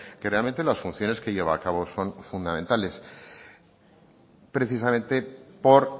que realmente las funciones que lleva a cabo son fundamentales precisamente por